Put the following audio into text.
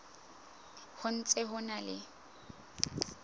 ho ntse ho na le